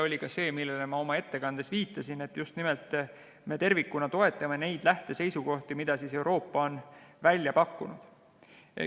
Viitasin sellele ka oma ettekandes, et me just nimelt tervikuna toetame neid lähteseisukohti, mida Euroopa on välja pakkunud.